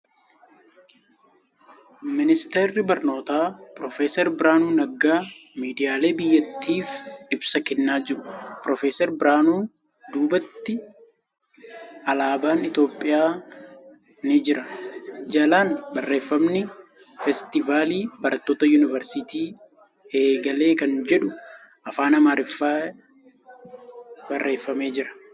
Ministarri barnootaa piroofeesar Birhaanuu Naggaa miidiyaalee biyyattiif ibsa kennaa jiru. Piroofeesar Birhaanuu duubatti alaabaan Itiyoophiyaa ni jira. jalaan barreeffamni ' Feestivaalli barattoota Yuunivarsiitii eegale ' kan jedhu afaan Amaariffaan barreefamee jira.